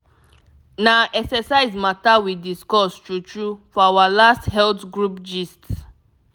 na exercise matter we discuss true true for our last health group gist.